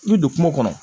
I bi don kungo kɔnɔ